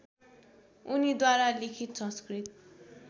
उनीद्वारा लिखित संस्कृत